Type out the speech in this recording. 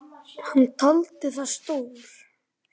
Hann taldi það slór.